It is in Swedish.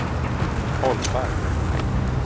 Holmberg